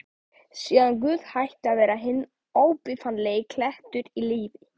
Síðan Guð hætti að vera hinn óbifanlegi klettur í lífi